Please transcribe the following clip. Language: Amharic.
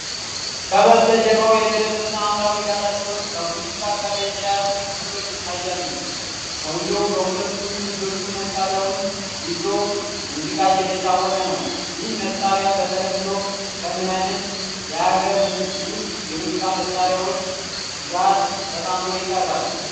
ከበስተጀርባው የደበዘዘ ሐምራዊ ዳራ ሲሆን፤ ከሙዚቃ ጋር የተያያዙ ምስሎች ይታያሉ። ሰውየው በሁለቱም እጆቹ መሣሪያውን ይዞ ሙዚቃ እየተጫወተ ነው። ይህ መሣሪያ በተለምዶ ከምን ዓይነት የአገር ውስጥ የሙዚቃ መሣሪያዎች ጋር ተጣምሮ ይቀርባል?